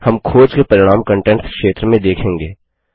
हम खोज के परिणाम कंटेंट्स क्षेत्र में देखेंगे